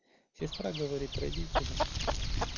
сестра говорит родителям